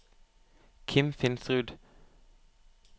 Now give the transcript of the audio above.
Kim Finsrud